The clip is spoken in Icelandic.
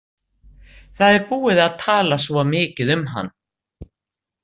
Það er búið að tala svo mikið um hann.